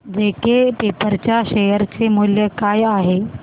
JK paper च्या share चे मूल्य काय आहे